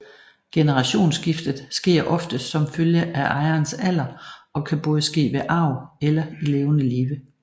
Generationsskiftet sker oftest som følge af ejerens alder og kan både ske ved arv eller i levende live